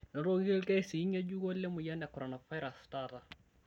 Enotoki lkesii ng'ejuko le moyian e koronavirus taata